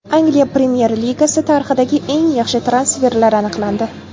Angliya Premyer Ligasi tarixidagi eng yaxshi transferlar aniqlandi.